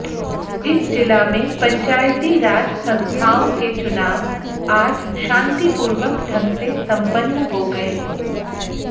इस जिला में पंचायती राज संस्थाओं के चुनाव आज शांतिपूर्वक ढंग से संपन्न हो गये